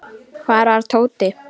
Hvar var Tóti?